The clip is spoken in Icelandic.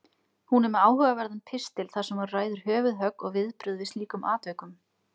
Hún er með áhugaverðan pistil þar sem hún ræðir höfuðhögg og viðbrögð við slíkum atvikum.